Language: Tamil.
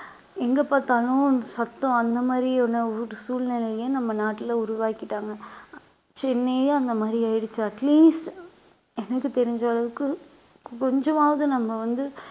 எங்க பார்த்தாலும் சத்தம் அந்த மாதிரியான ஒரு சூழ்நிலையை நம்ம நாட்டுல உருவாக்கிட்டாங்க சென்னையும் அந்த மாதிரி ஆயிடுச்சு at least எனக்கு தெரிஞ்ச அளவுக்கு கொஞ்சமாவது நம்ம வந்து